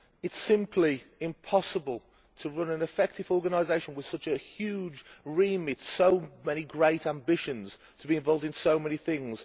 It is simply impossible to run an effective organisation with such a huge remit, with so many great ambitions to be involved in so many things.